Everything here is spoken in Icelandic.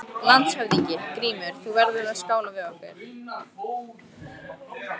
LANDSHÖFÐINGI: Grímur, þú verður að skála við okkur!